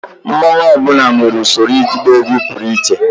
mmanwu ọ bụla nwere usoro ịgba egwu pụrụ iche